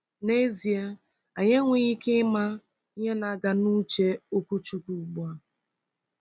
N'ezie, anyị enweghị ike ịma ihe na-aga n'uche Okwuchukwu ugbu a.